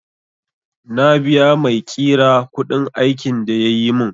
Na biya maiƙira kuɗin aikin da yayi mun